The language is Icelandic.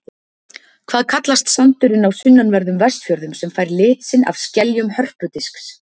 Hvað kallast sandurinn á sunnanverðum Vestfjörðum sem fær lit sinn af skeljum hörpudisks?